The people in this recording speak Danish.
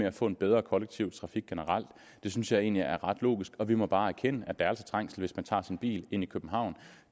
at få en bedre kollektiv trafik generelt det synes jeg egentlig er ret logisk og vi må bare erkende at der altså er trængsel hvis man tager sin bil ind til københavn